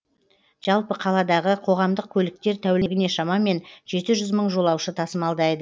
жалпы қаладағы қоғамдық көліктер тәулігіне шамамен жеті жүз мың жолаушы тасымалдайды